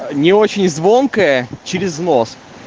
а не очень звонкая через нос